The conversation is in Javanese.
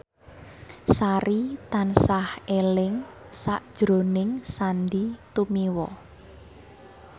Sari tansah eling sakjroning Sandy Tumiwa